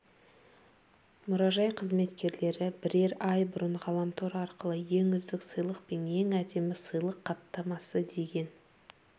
мұражай қызметкерлері бірер ай бұрын ғаламтор арқылы ең үздік сыйлық пен ең әдемі сыйлық қаптамасы деген